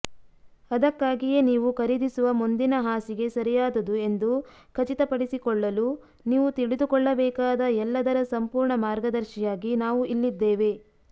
ಅದಕ್ಕಾಗಿಯೇ ನೀವು ಖರೀದಿಸುವ ಮುಂದಿನ ಹಾಸಿಗೆ ಸರಿಯಾದದು ಎಂದು ಖಚಿತಪಡಿಸಿಕೊಳ್ಳಲು ನೀವು ತಿಳಿದುಕೊಳ್ಳಬೇಕಾದ ಎಲ್ಲದರ ಸಂಪೂರ್ಣ ಮಾರ್ಗದರ್ಶಿಯಾಗಿ ನಾವು ಇಲ್ಲಿದ್ದೇವೆ